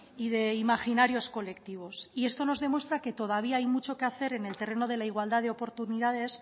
y de imaginarios colectivos esto nos demuestra que todavía hay mucho que hacer en el terreno de la igualdad de oportunidades